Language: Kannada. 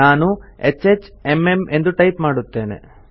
ನಾನು HHMM ಎಂದು ಟೈಪ್ ಮಾಡುತ್ತೇನೆ